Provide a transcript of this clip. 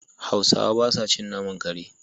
Hausawa ba sa cin naman kare.